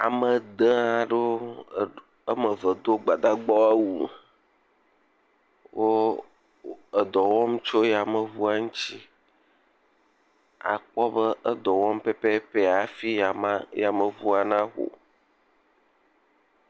Ame dẽee aɖewo. Woame ve do Gbadagbawo awu. Wo edɔ wɔm tso yameŋua ŋtsi. Akpɔ be edɔ wɔm pɛpɛpɛ afi ama, yameŋua naho.